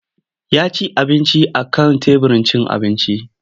Ya ci abinci a kan teburin cin abinci.